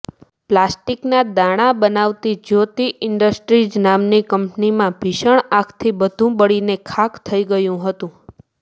પ્લાસ્ટિકના દાણા બનાવતી જ્યોતિ ઈન્ડસ્ટ્રીઝ નામની કંપનીમાં ભીષણ આગથી બધુ બળીને ખાખ થઈ ગયું હતું